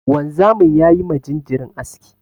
Wanzamin ya yi ma jinjirin aski.